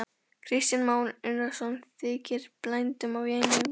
Kristján Már Unnarsson: Þykir bændum vænna um þær?